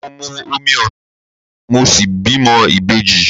Mo mu omi Osun mo sì bímọ ìbejì.